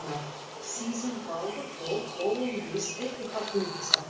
Síðan Baldur dó höfum við ekki haft mikið af